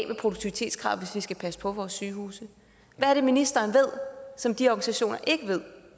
med produktivitetskravet nu vi skal passe på vores sygehuse hvad er det ministeren ved som de organisationer ikke ved